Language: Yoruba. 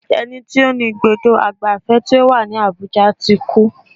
Ẹni tí ó ní ibùdó ìgbafẹ́ tó wà ní Abuja ti kú.